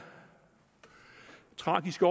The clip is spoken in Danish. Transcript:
tragiske